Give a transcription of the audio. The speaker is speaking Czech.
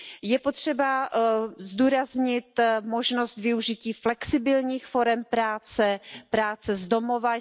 Je potřeba zdůraznit možnost využití flexibilních forem práce, práce z domova.